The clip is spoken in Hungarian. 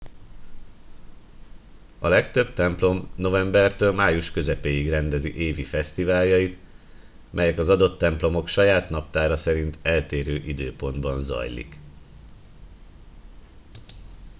a legtöbb templom novembertől május közepéig rendezi évi fesztiváljait melyek az adott templomok saját naptára szerint eltérő időpontban zajlik